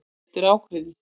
Þetta er ákveðið.